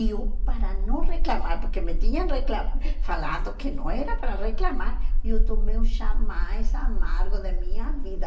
E eu, para não reclamar, porque me tinham recla falado que não era para reclamar, eu tomei o chá mais amargo da minha vida.